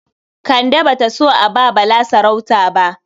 Kande ba ta so a ba Bala sarauta ba.